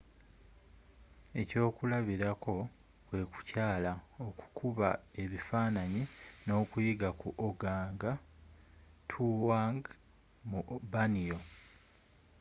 ekyokulabirako kwe kukyala okukuba ebifaananyi nokuyiga ku organgatuangd mu borneo